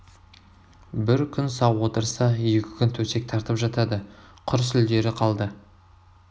бір күн сау отырса екі күн төсек тартып жатады құр сүлдері қалды